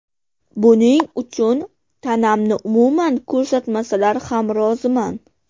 Buning uchun tanamni umuman ko‘rsatmasalar ham roziman.